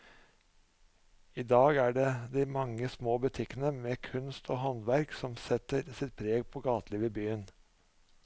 I dag er det de mange små butikkene med kunst og håndverk som setter sitt preg på gatelivet i byen.